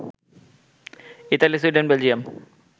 Italy, Sweden, Belgium